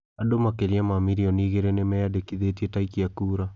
Andũ makĩria ma mirioni igĩrĩ nĩ meyandĩkithĩtie ta aikia kura